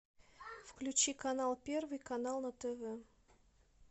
включи канал первый канал на тв